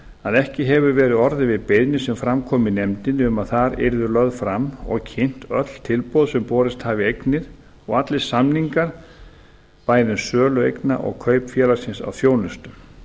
að ekki hefur verið orðið við beiðni sem fram kom í nefndinni um að þar yrðu lögð fram og kynnt öll tilboð sem borist hafa í eignir og allir samningar bæði um sölu eigna og kaup félagsins á þjónustu